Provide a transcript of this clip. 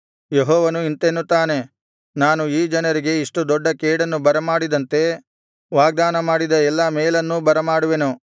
ಯೆಹೋವನು ಇಂತೆನ್ನುತ್ತಾನೆ ನಾನು ಈ ಜನರಿಗೆ ಇಷ್ಟು ದೊಡ್ಡ ಕೇಡನ್ನು ಬರಮಾಡಿದಂತೆ ವಾಗ್ದಾನ ಮಾಡಿದ ಎಲ್ಲಾ ಮೇಲನ್ನೂ ಬರಮಾಡುವೆನು